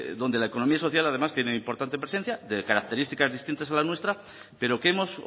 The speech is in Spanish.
donde la economía social además tiene importante presencia de características distintas a la nuestra pero que hemos